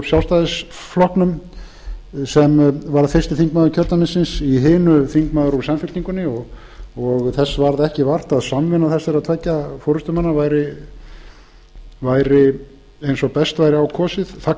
sjálfstæðisflokknum fyrsti þingmaður kjördæmisins í hinu þingmaður úr samfylkingunni og þess varð ekki vart að samvinna þessara tveggja forustumanna væri eins og best væri á kosið þetta